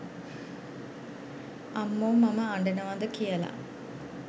අම්මෝ මම අඩනවද කියල